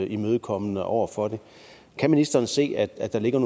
imødekommende over for det kan ministeren se at der ligger